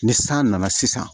Ni san nana sisan